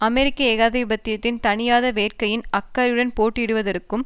அமெரிக்க ஏகாதிபத்தியத்தின் தணியாத வேட்கையின் அக்கறையுடன் போட்டியிடுவதற்கும்